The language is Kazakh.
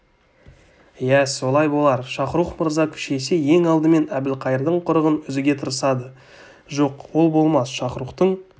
иә солай болар шахрух мырза күшейсе ең алдымен әбілқайырдың құрығын үзуге тырысады жоқ ол болмас шахрухтың